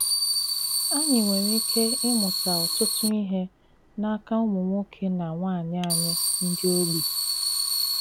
Ànyị̀ nwere ìkè ịmùtà ọ̀tùtù ihe n’aka ùmụ̀ nwoke na nwaanyị ànyị̀ ndị ogbi. ”